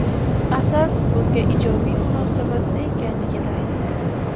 Asad bunga ijobiy munosabatda ekanligini aytdi”.